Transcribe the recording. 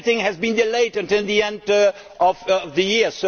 Everything has been delayed until the end of the year.